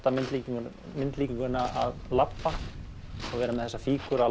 myndlíkinguna myndlíkinguna að labba vera með þessa fígúru að